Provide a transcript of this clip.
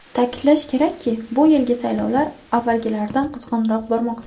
Ta’kidlash kerakki, bu yilgi saylovlar avvalgilaridan qizg‘inroq bormoqda .